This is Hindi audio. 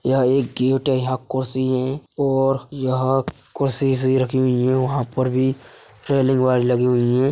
यह एक गेट है यहाँ कुर्सी है और यह कुर्सि इरसी रखी हुई है वहां पर भी रेलिंग वायर लगी हुई है।